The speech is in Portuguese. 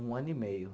Um ano e meio.